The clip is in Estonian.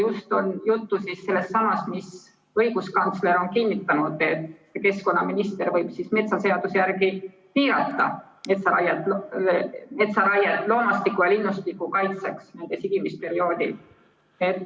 Juttu on just sellestsamast, mida õiguskantsler on kinnitanud, et keskkonnaminister võib metsaseaduse järgi piirata metsaraiet loomastiku ja linnustiku kaitseks sigimisperioodil.